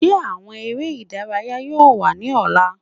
Ṣe awọn ere idaraya yoo wa ni ọla?